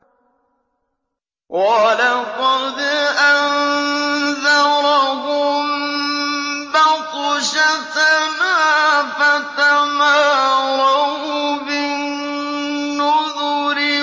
وَلَقَدْ أَنذَرَهُم بَطْشَتَنَا فَتَمَارَوْا بِالنُّذُرِ